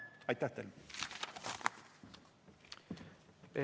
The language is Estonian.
Aitäh teile!